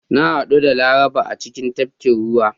Na hadu da Laraba a cikin tafkin ruwa.